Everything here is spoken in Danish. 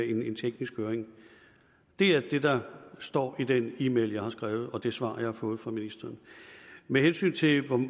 en teknisk høring det er det der står i den e mail jeg har skrevet og det svar jeg har fået fra ministeren med hensyn til